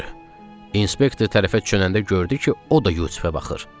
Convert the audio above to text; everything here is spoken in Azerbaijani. İnspktor tərəfə dönəndə gördü ki, o da Yusifə baxır.